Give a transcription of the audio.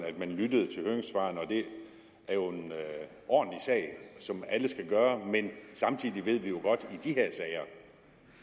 lyttede til høringssvarene og det er jo en ordentlig sag som alle skal gøre men samtidig ved vi jo godt